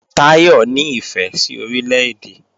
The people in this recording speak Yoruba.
Táyọ̀ ní ìfẹ́ sí Orílè-èdè